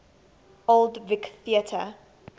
old vic theatre